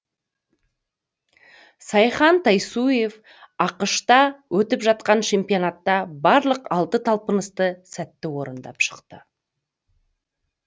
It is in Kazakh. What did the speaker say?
сайхан тайсуев ақш та өтіп жатқан чемпионатта барлық алты талпынысты сәтті орындап шықты